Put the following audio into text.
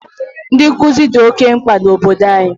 Ndị nkuzi dị oke mkpa na obodo anyị.